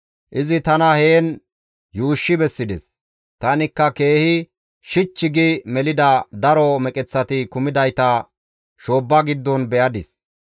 Izi tana heen yuushshi bessides; tanikka keehi shich gi melida daro meqeththati kumidayta shoobba giddon be7adis.